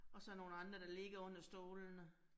Og så nogle andre, der ligger under stolene